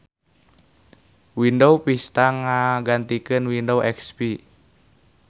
Windows Vista ngagantikeun Windows XP.